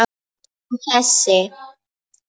Og þessi?